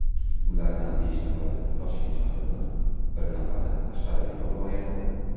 Ulardan besh nafari Toshkent shahridan, bir nafari Qashqadaryo viloyatidan.